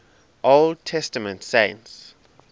old testament saints